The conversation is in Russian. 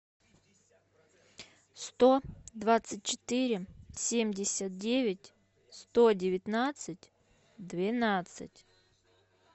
сто двадцать четыре семьдесят девять сто девятнадцать двенадцать